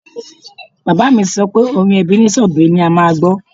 Bàbá mi sọ pé orin Ebenezer Obey ni a máa gbọ́